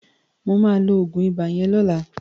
Mà á lo oògùn ibà yẹn lọ́la